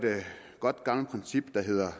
godt gammelt princip der hedder at